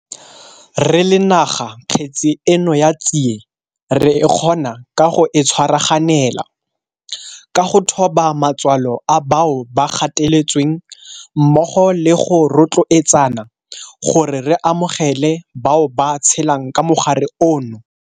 Re le naga kgetse eno ya tsie re e kgona ka go e tshwaraganela, ka go thoba matswalo a bao ba gateletsweng mmogo le go rotloetsana gore re amogele bao ba tshelang ka mogare ono.